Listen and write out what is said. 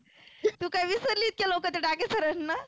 तु काय विसरली इतक्या लवकर ते डाके sir ना